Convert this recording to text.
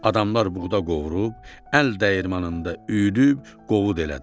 Adamlar buğda qovurub, əl dəyirmanında üyüdüb, qovut elədilər.